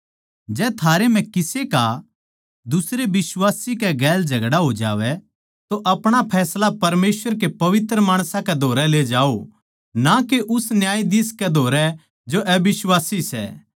जै थारै म्ह किसे का दुसरे बिश्वासी गेल झगड़ा हो जावै तो आपणा फैसला परमेसवर के पवित्र माणसां कै धोरै ले जाओ ना के उस न्यायाधीश कै धोरै जो के अबिश्वासी सै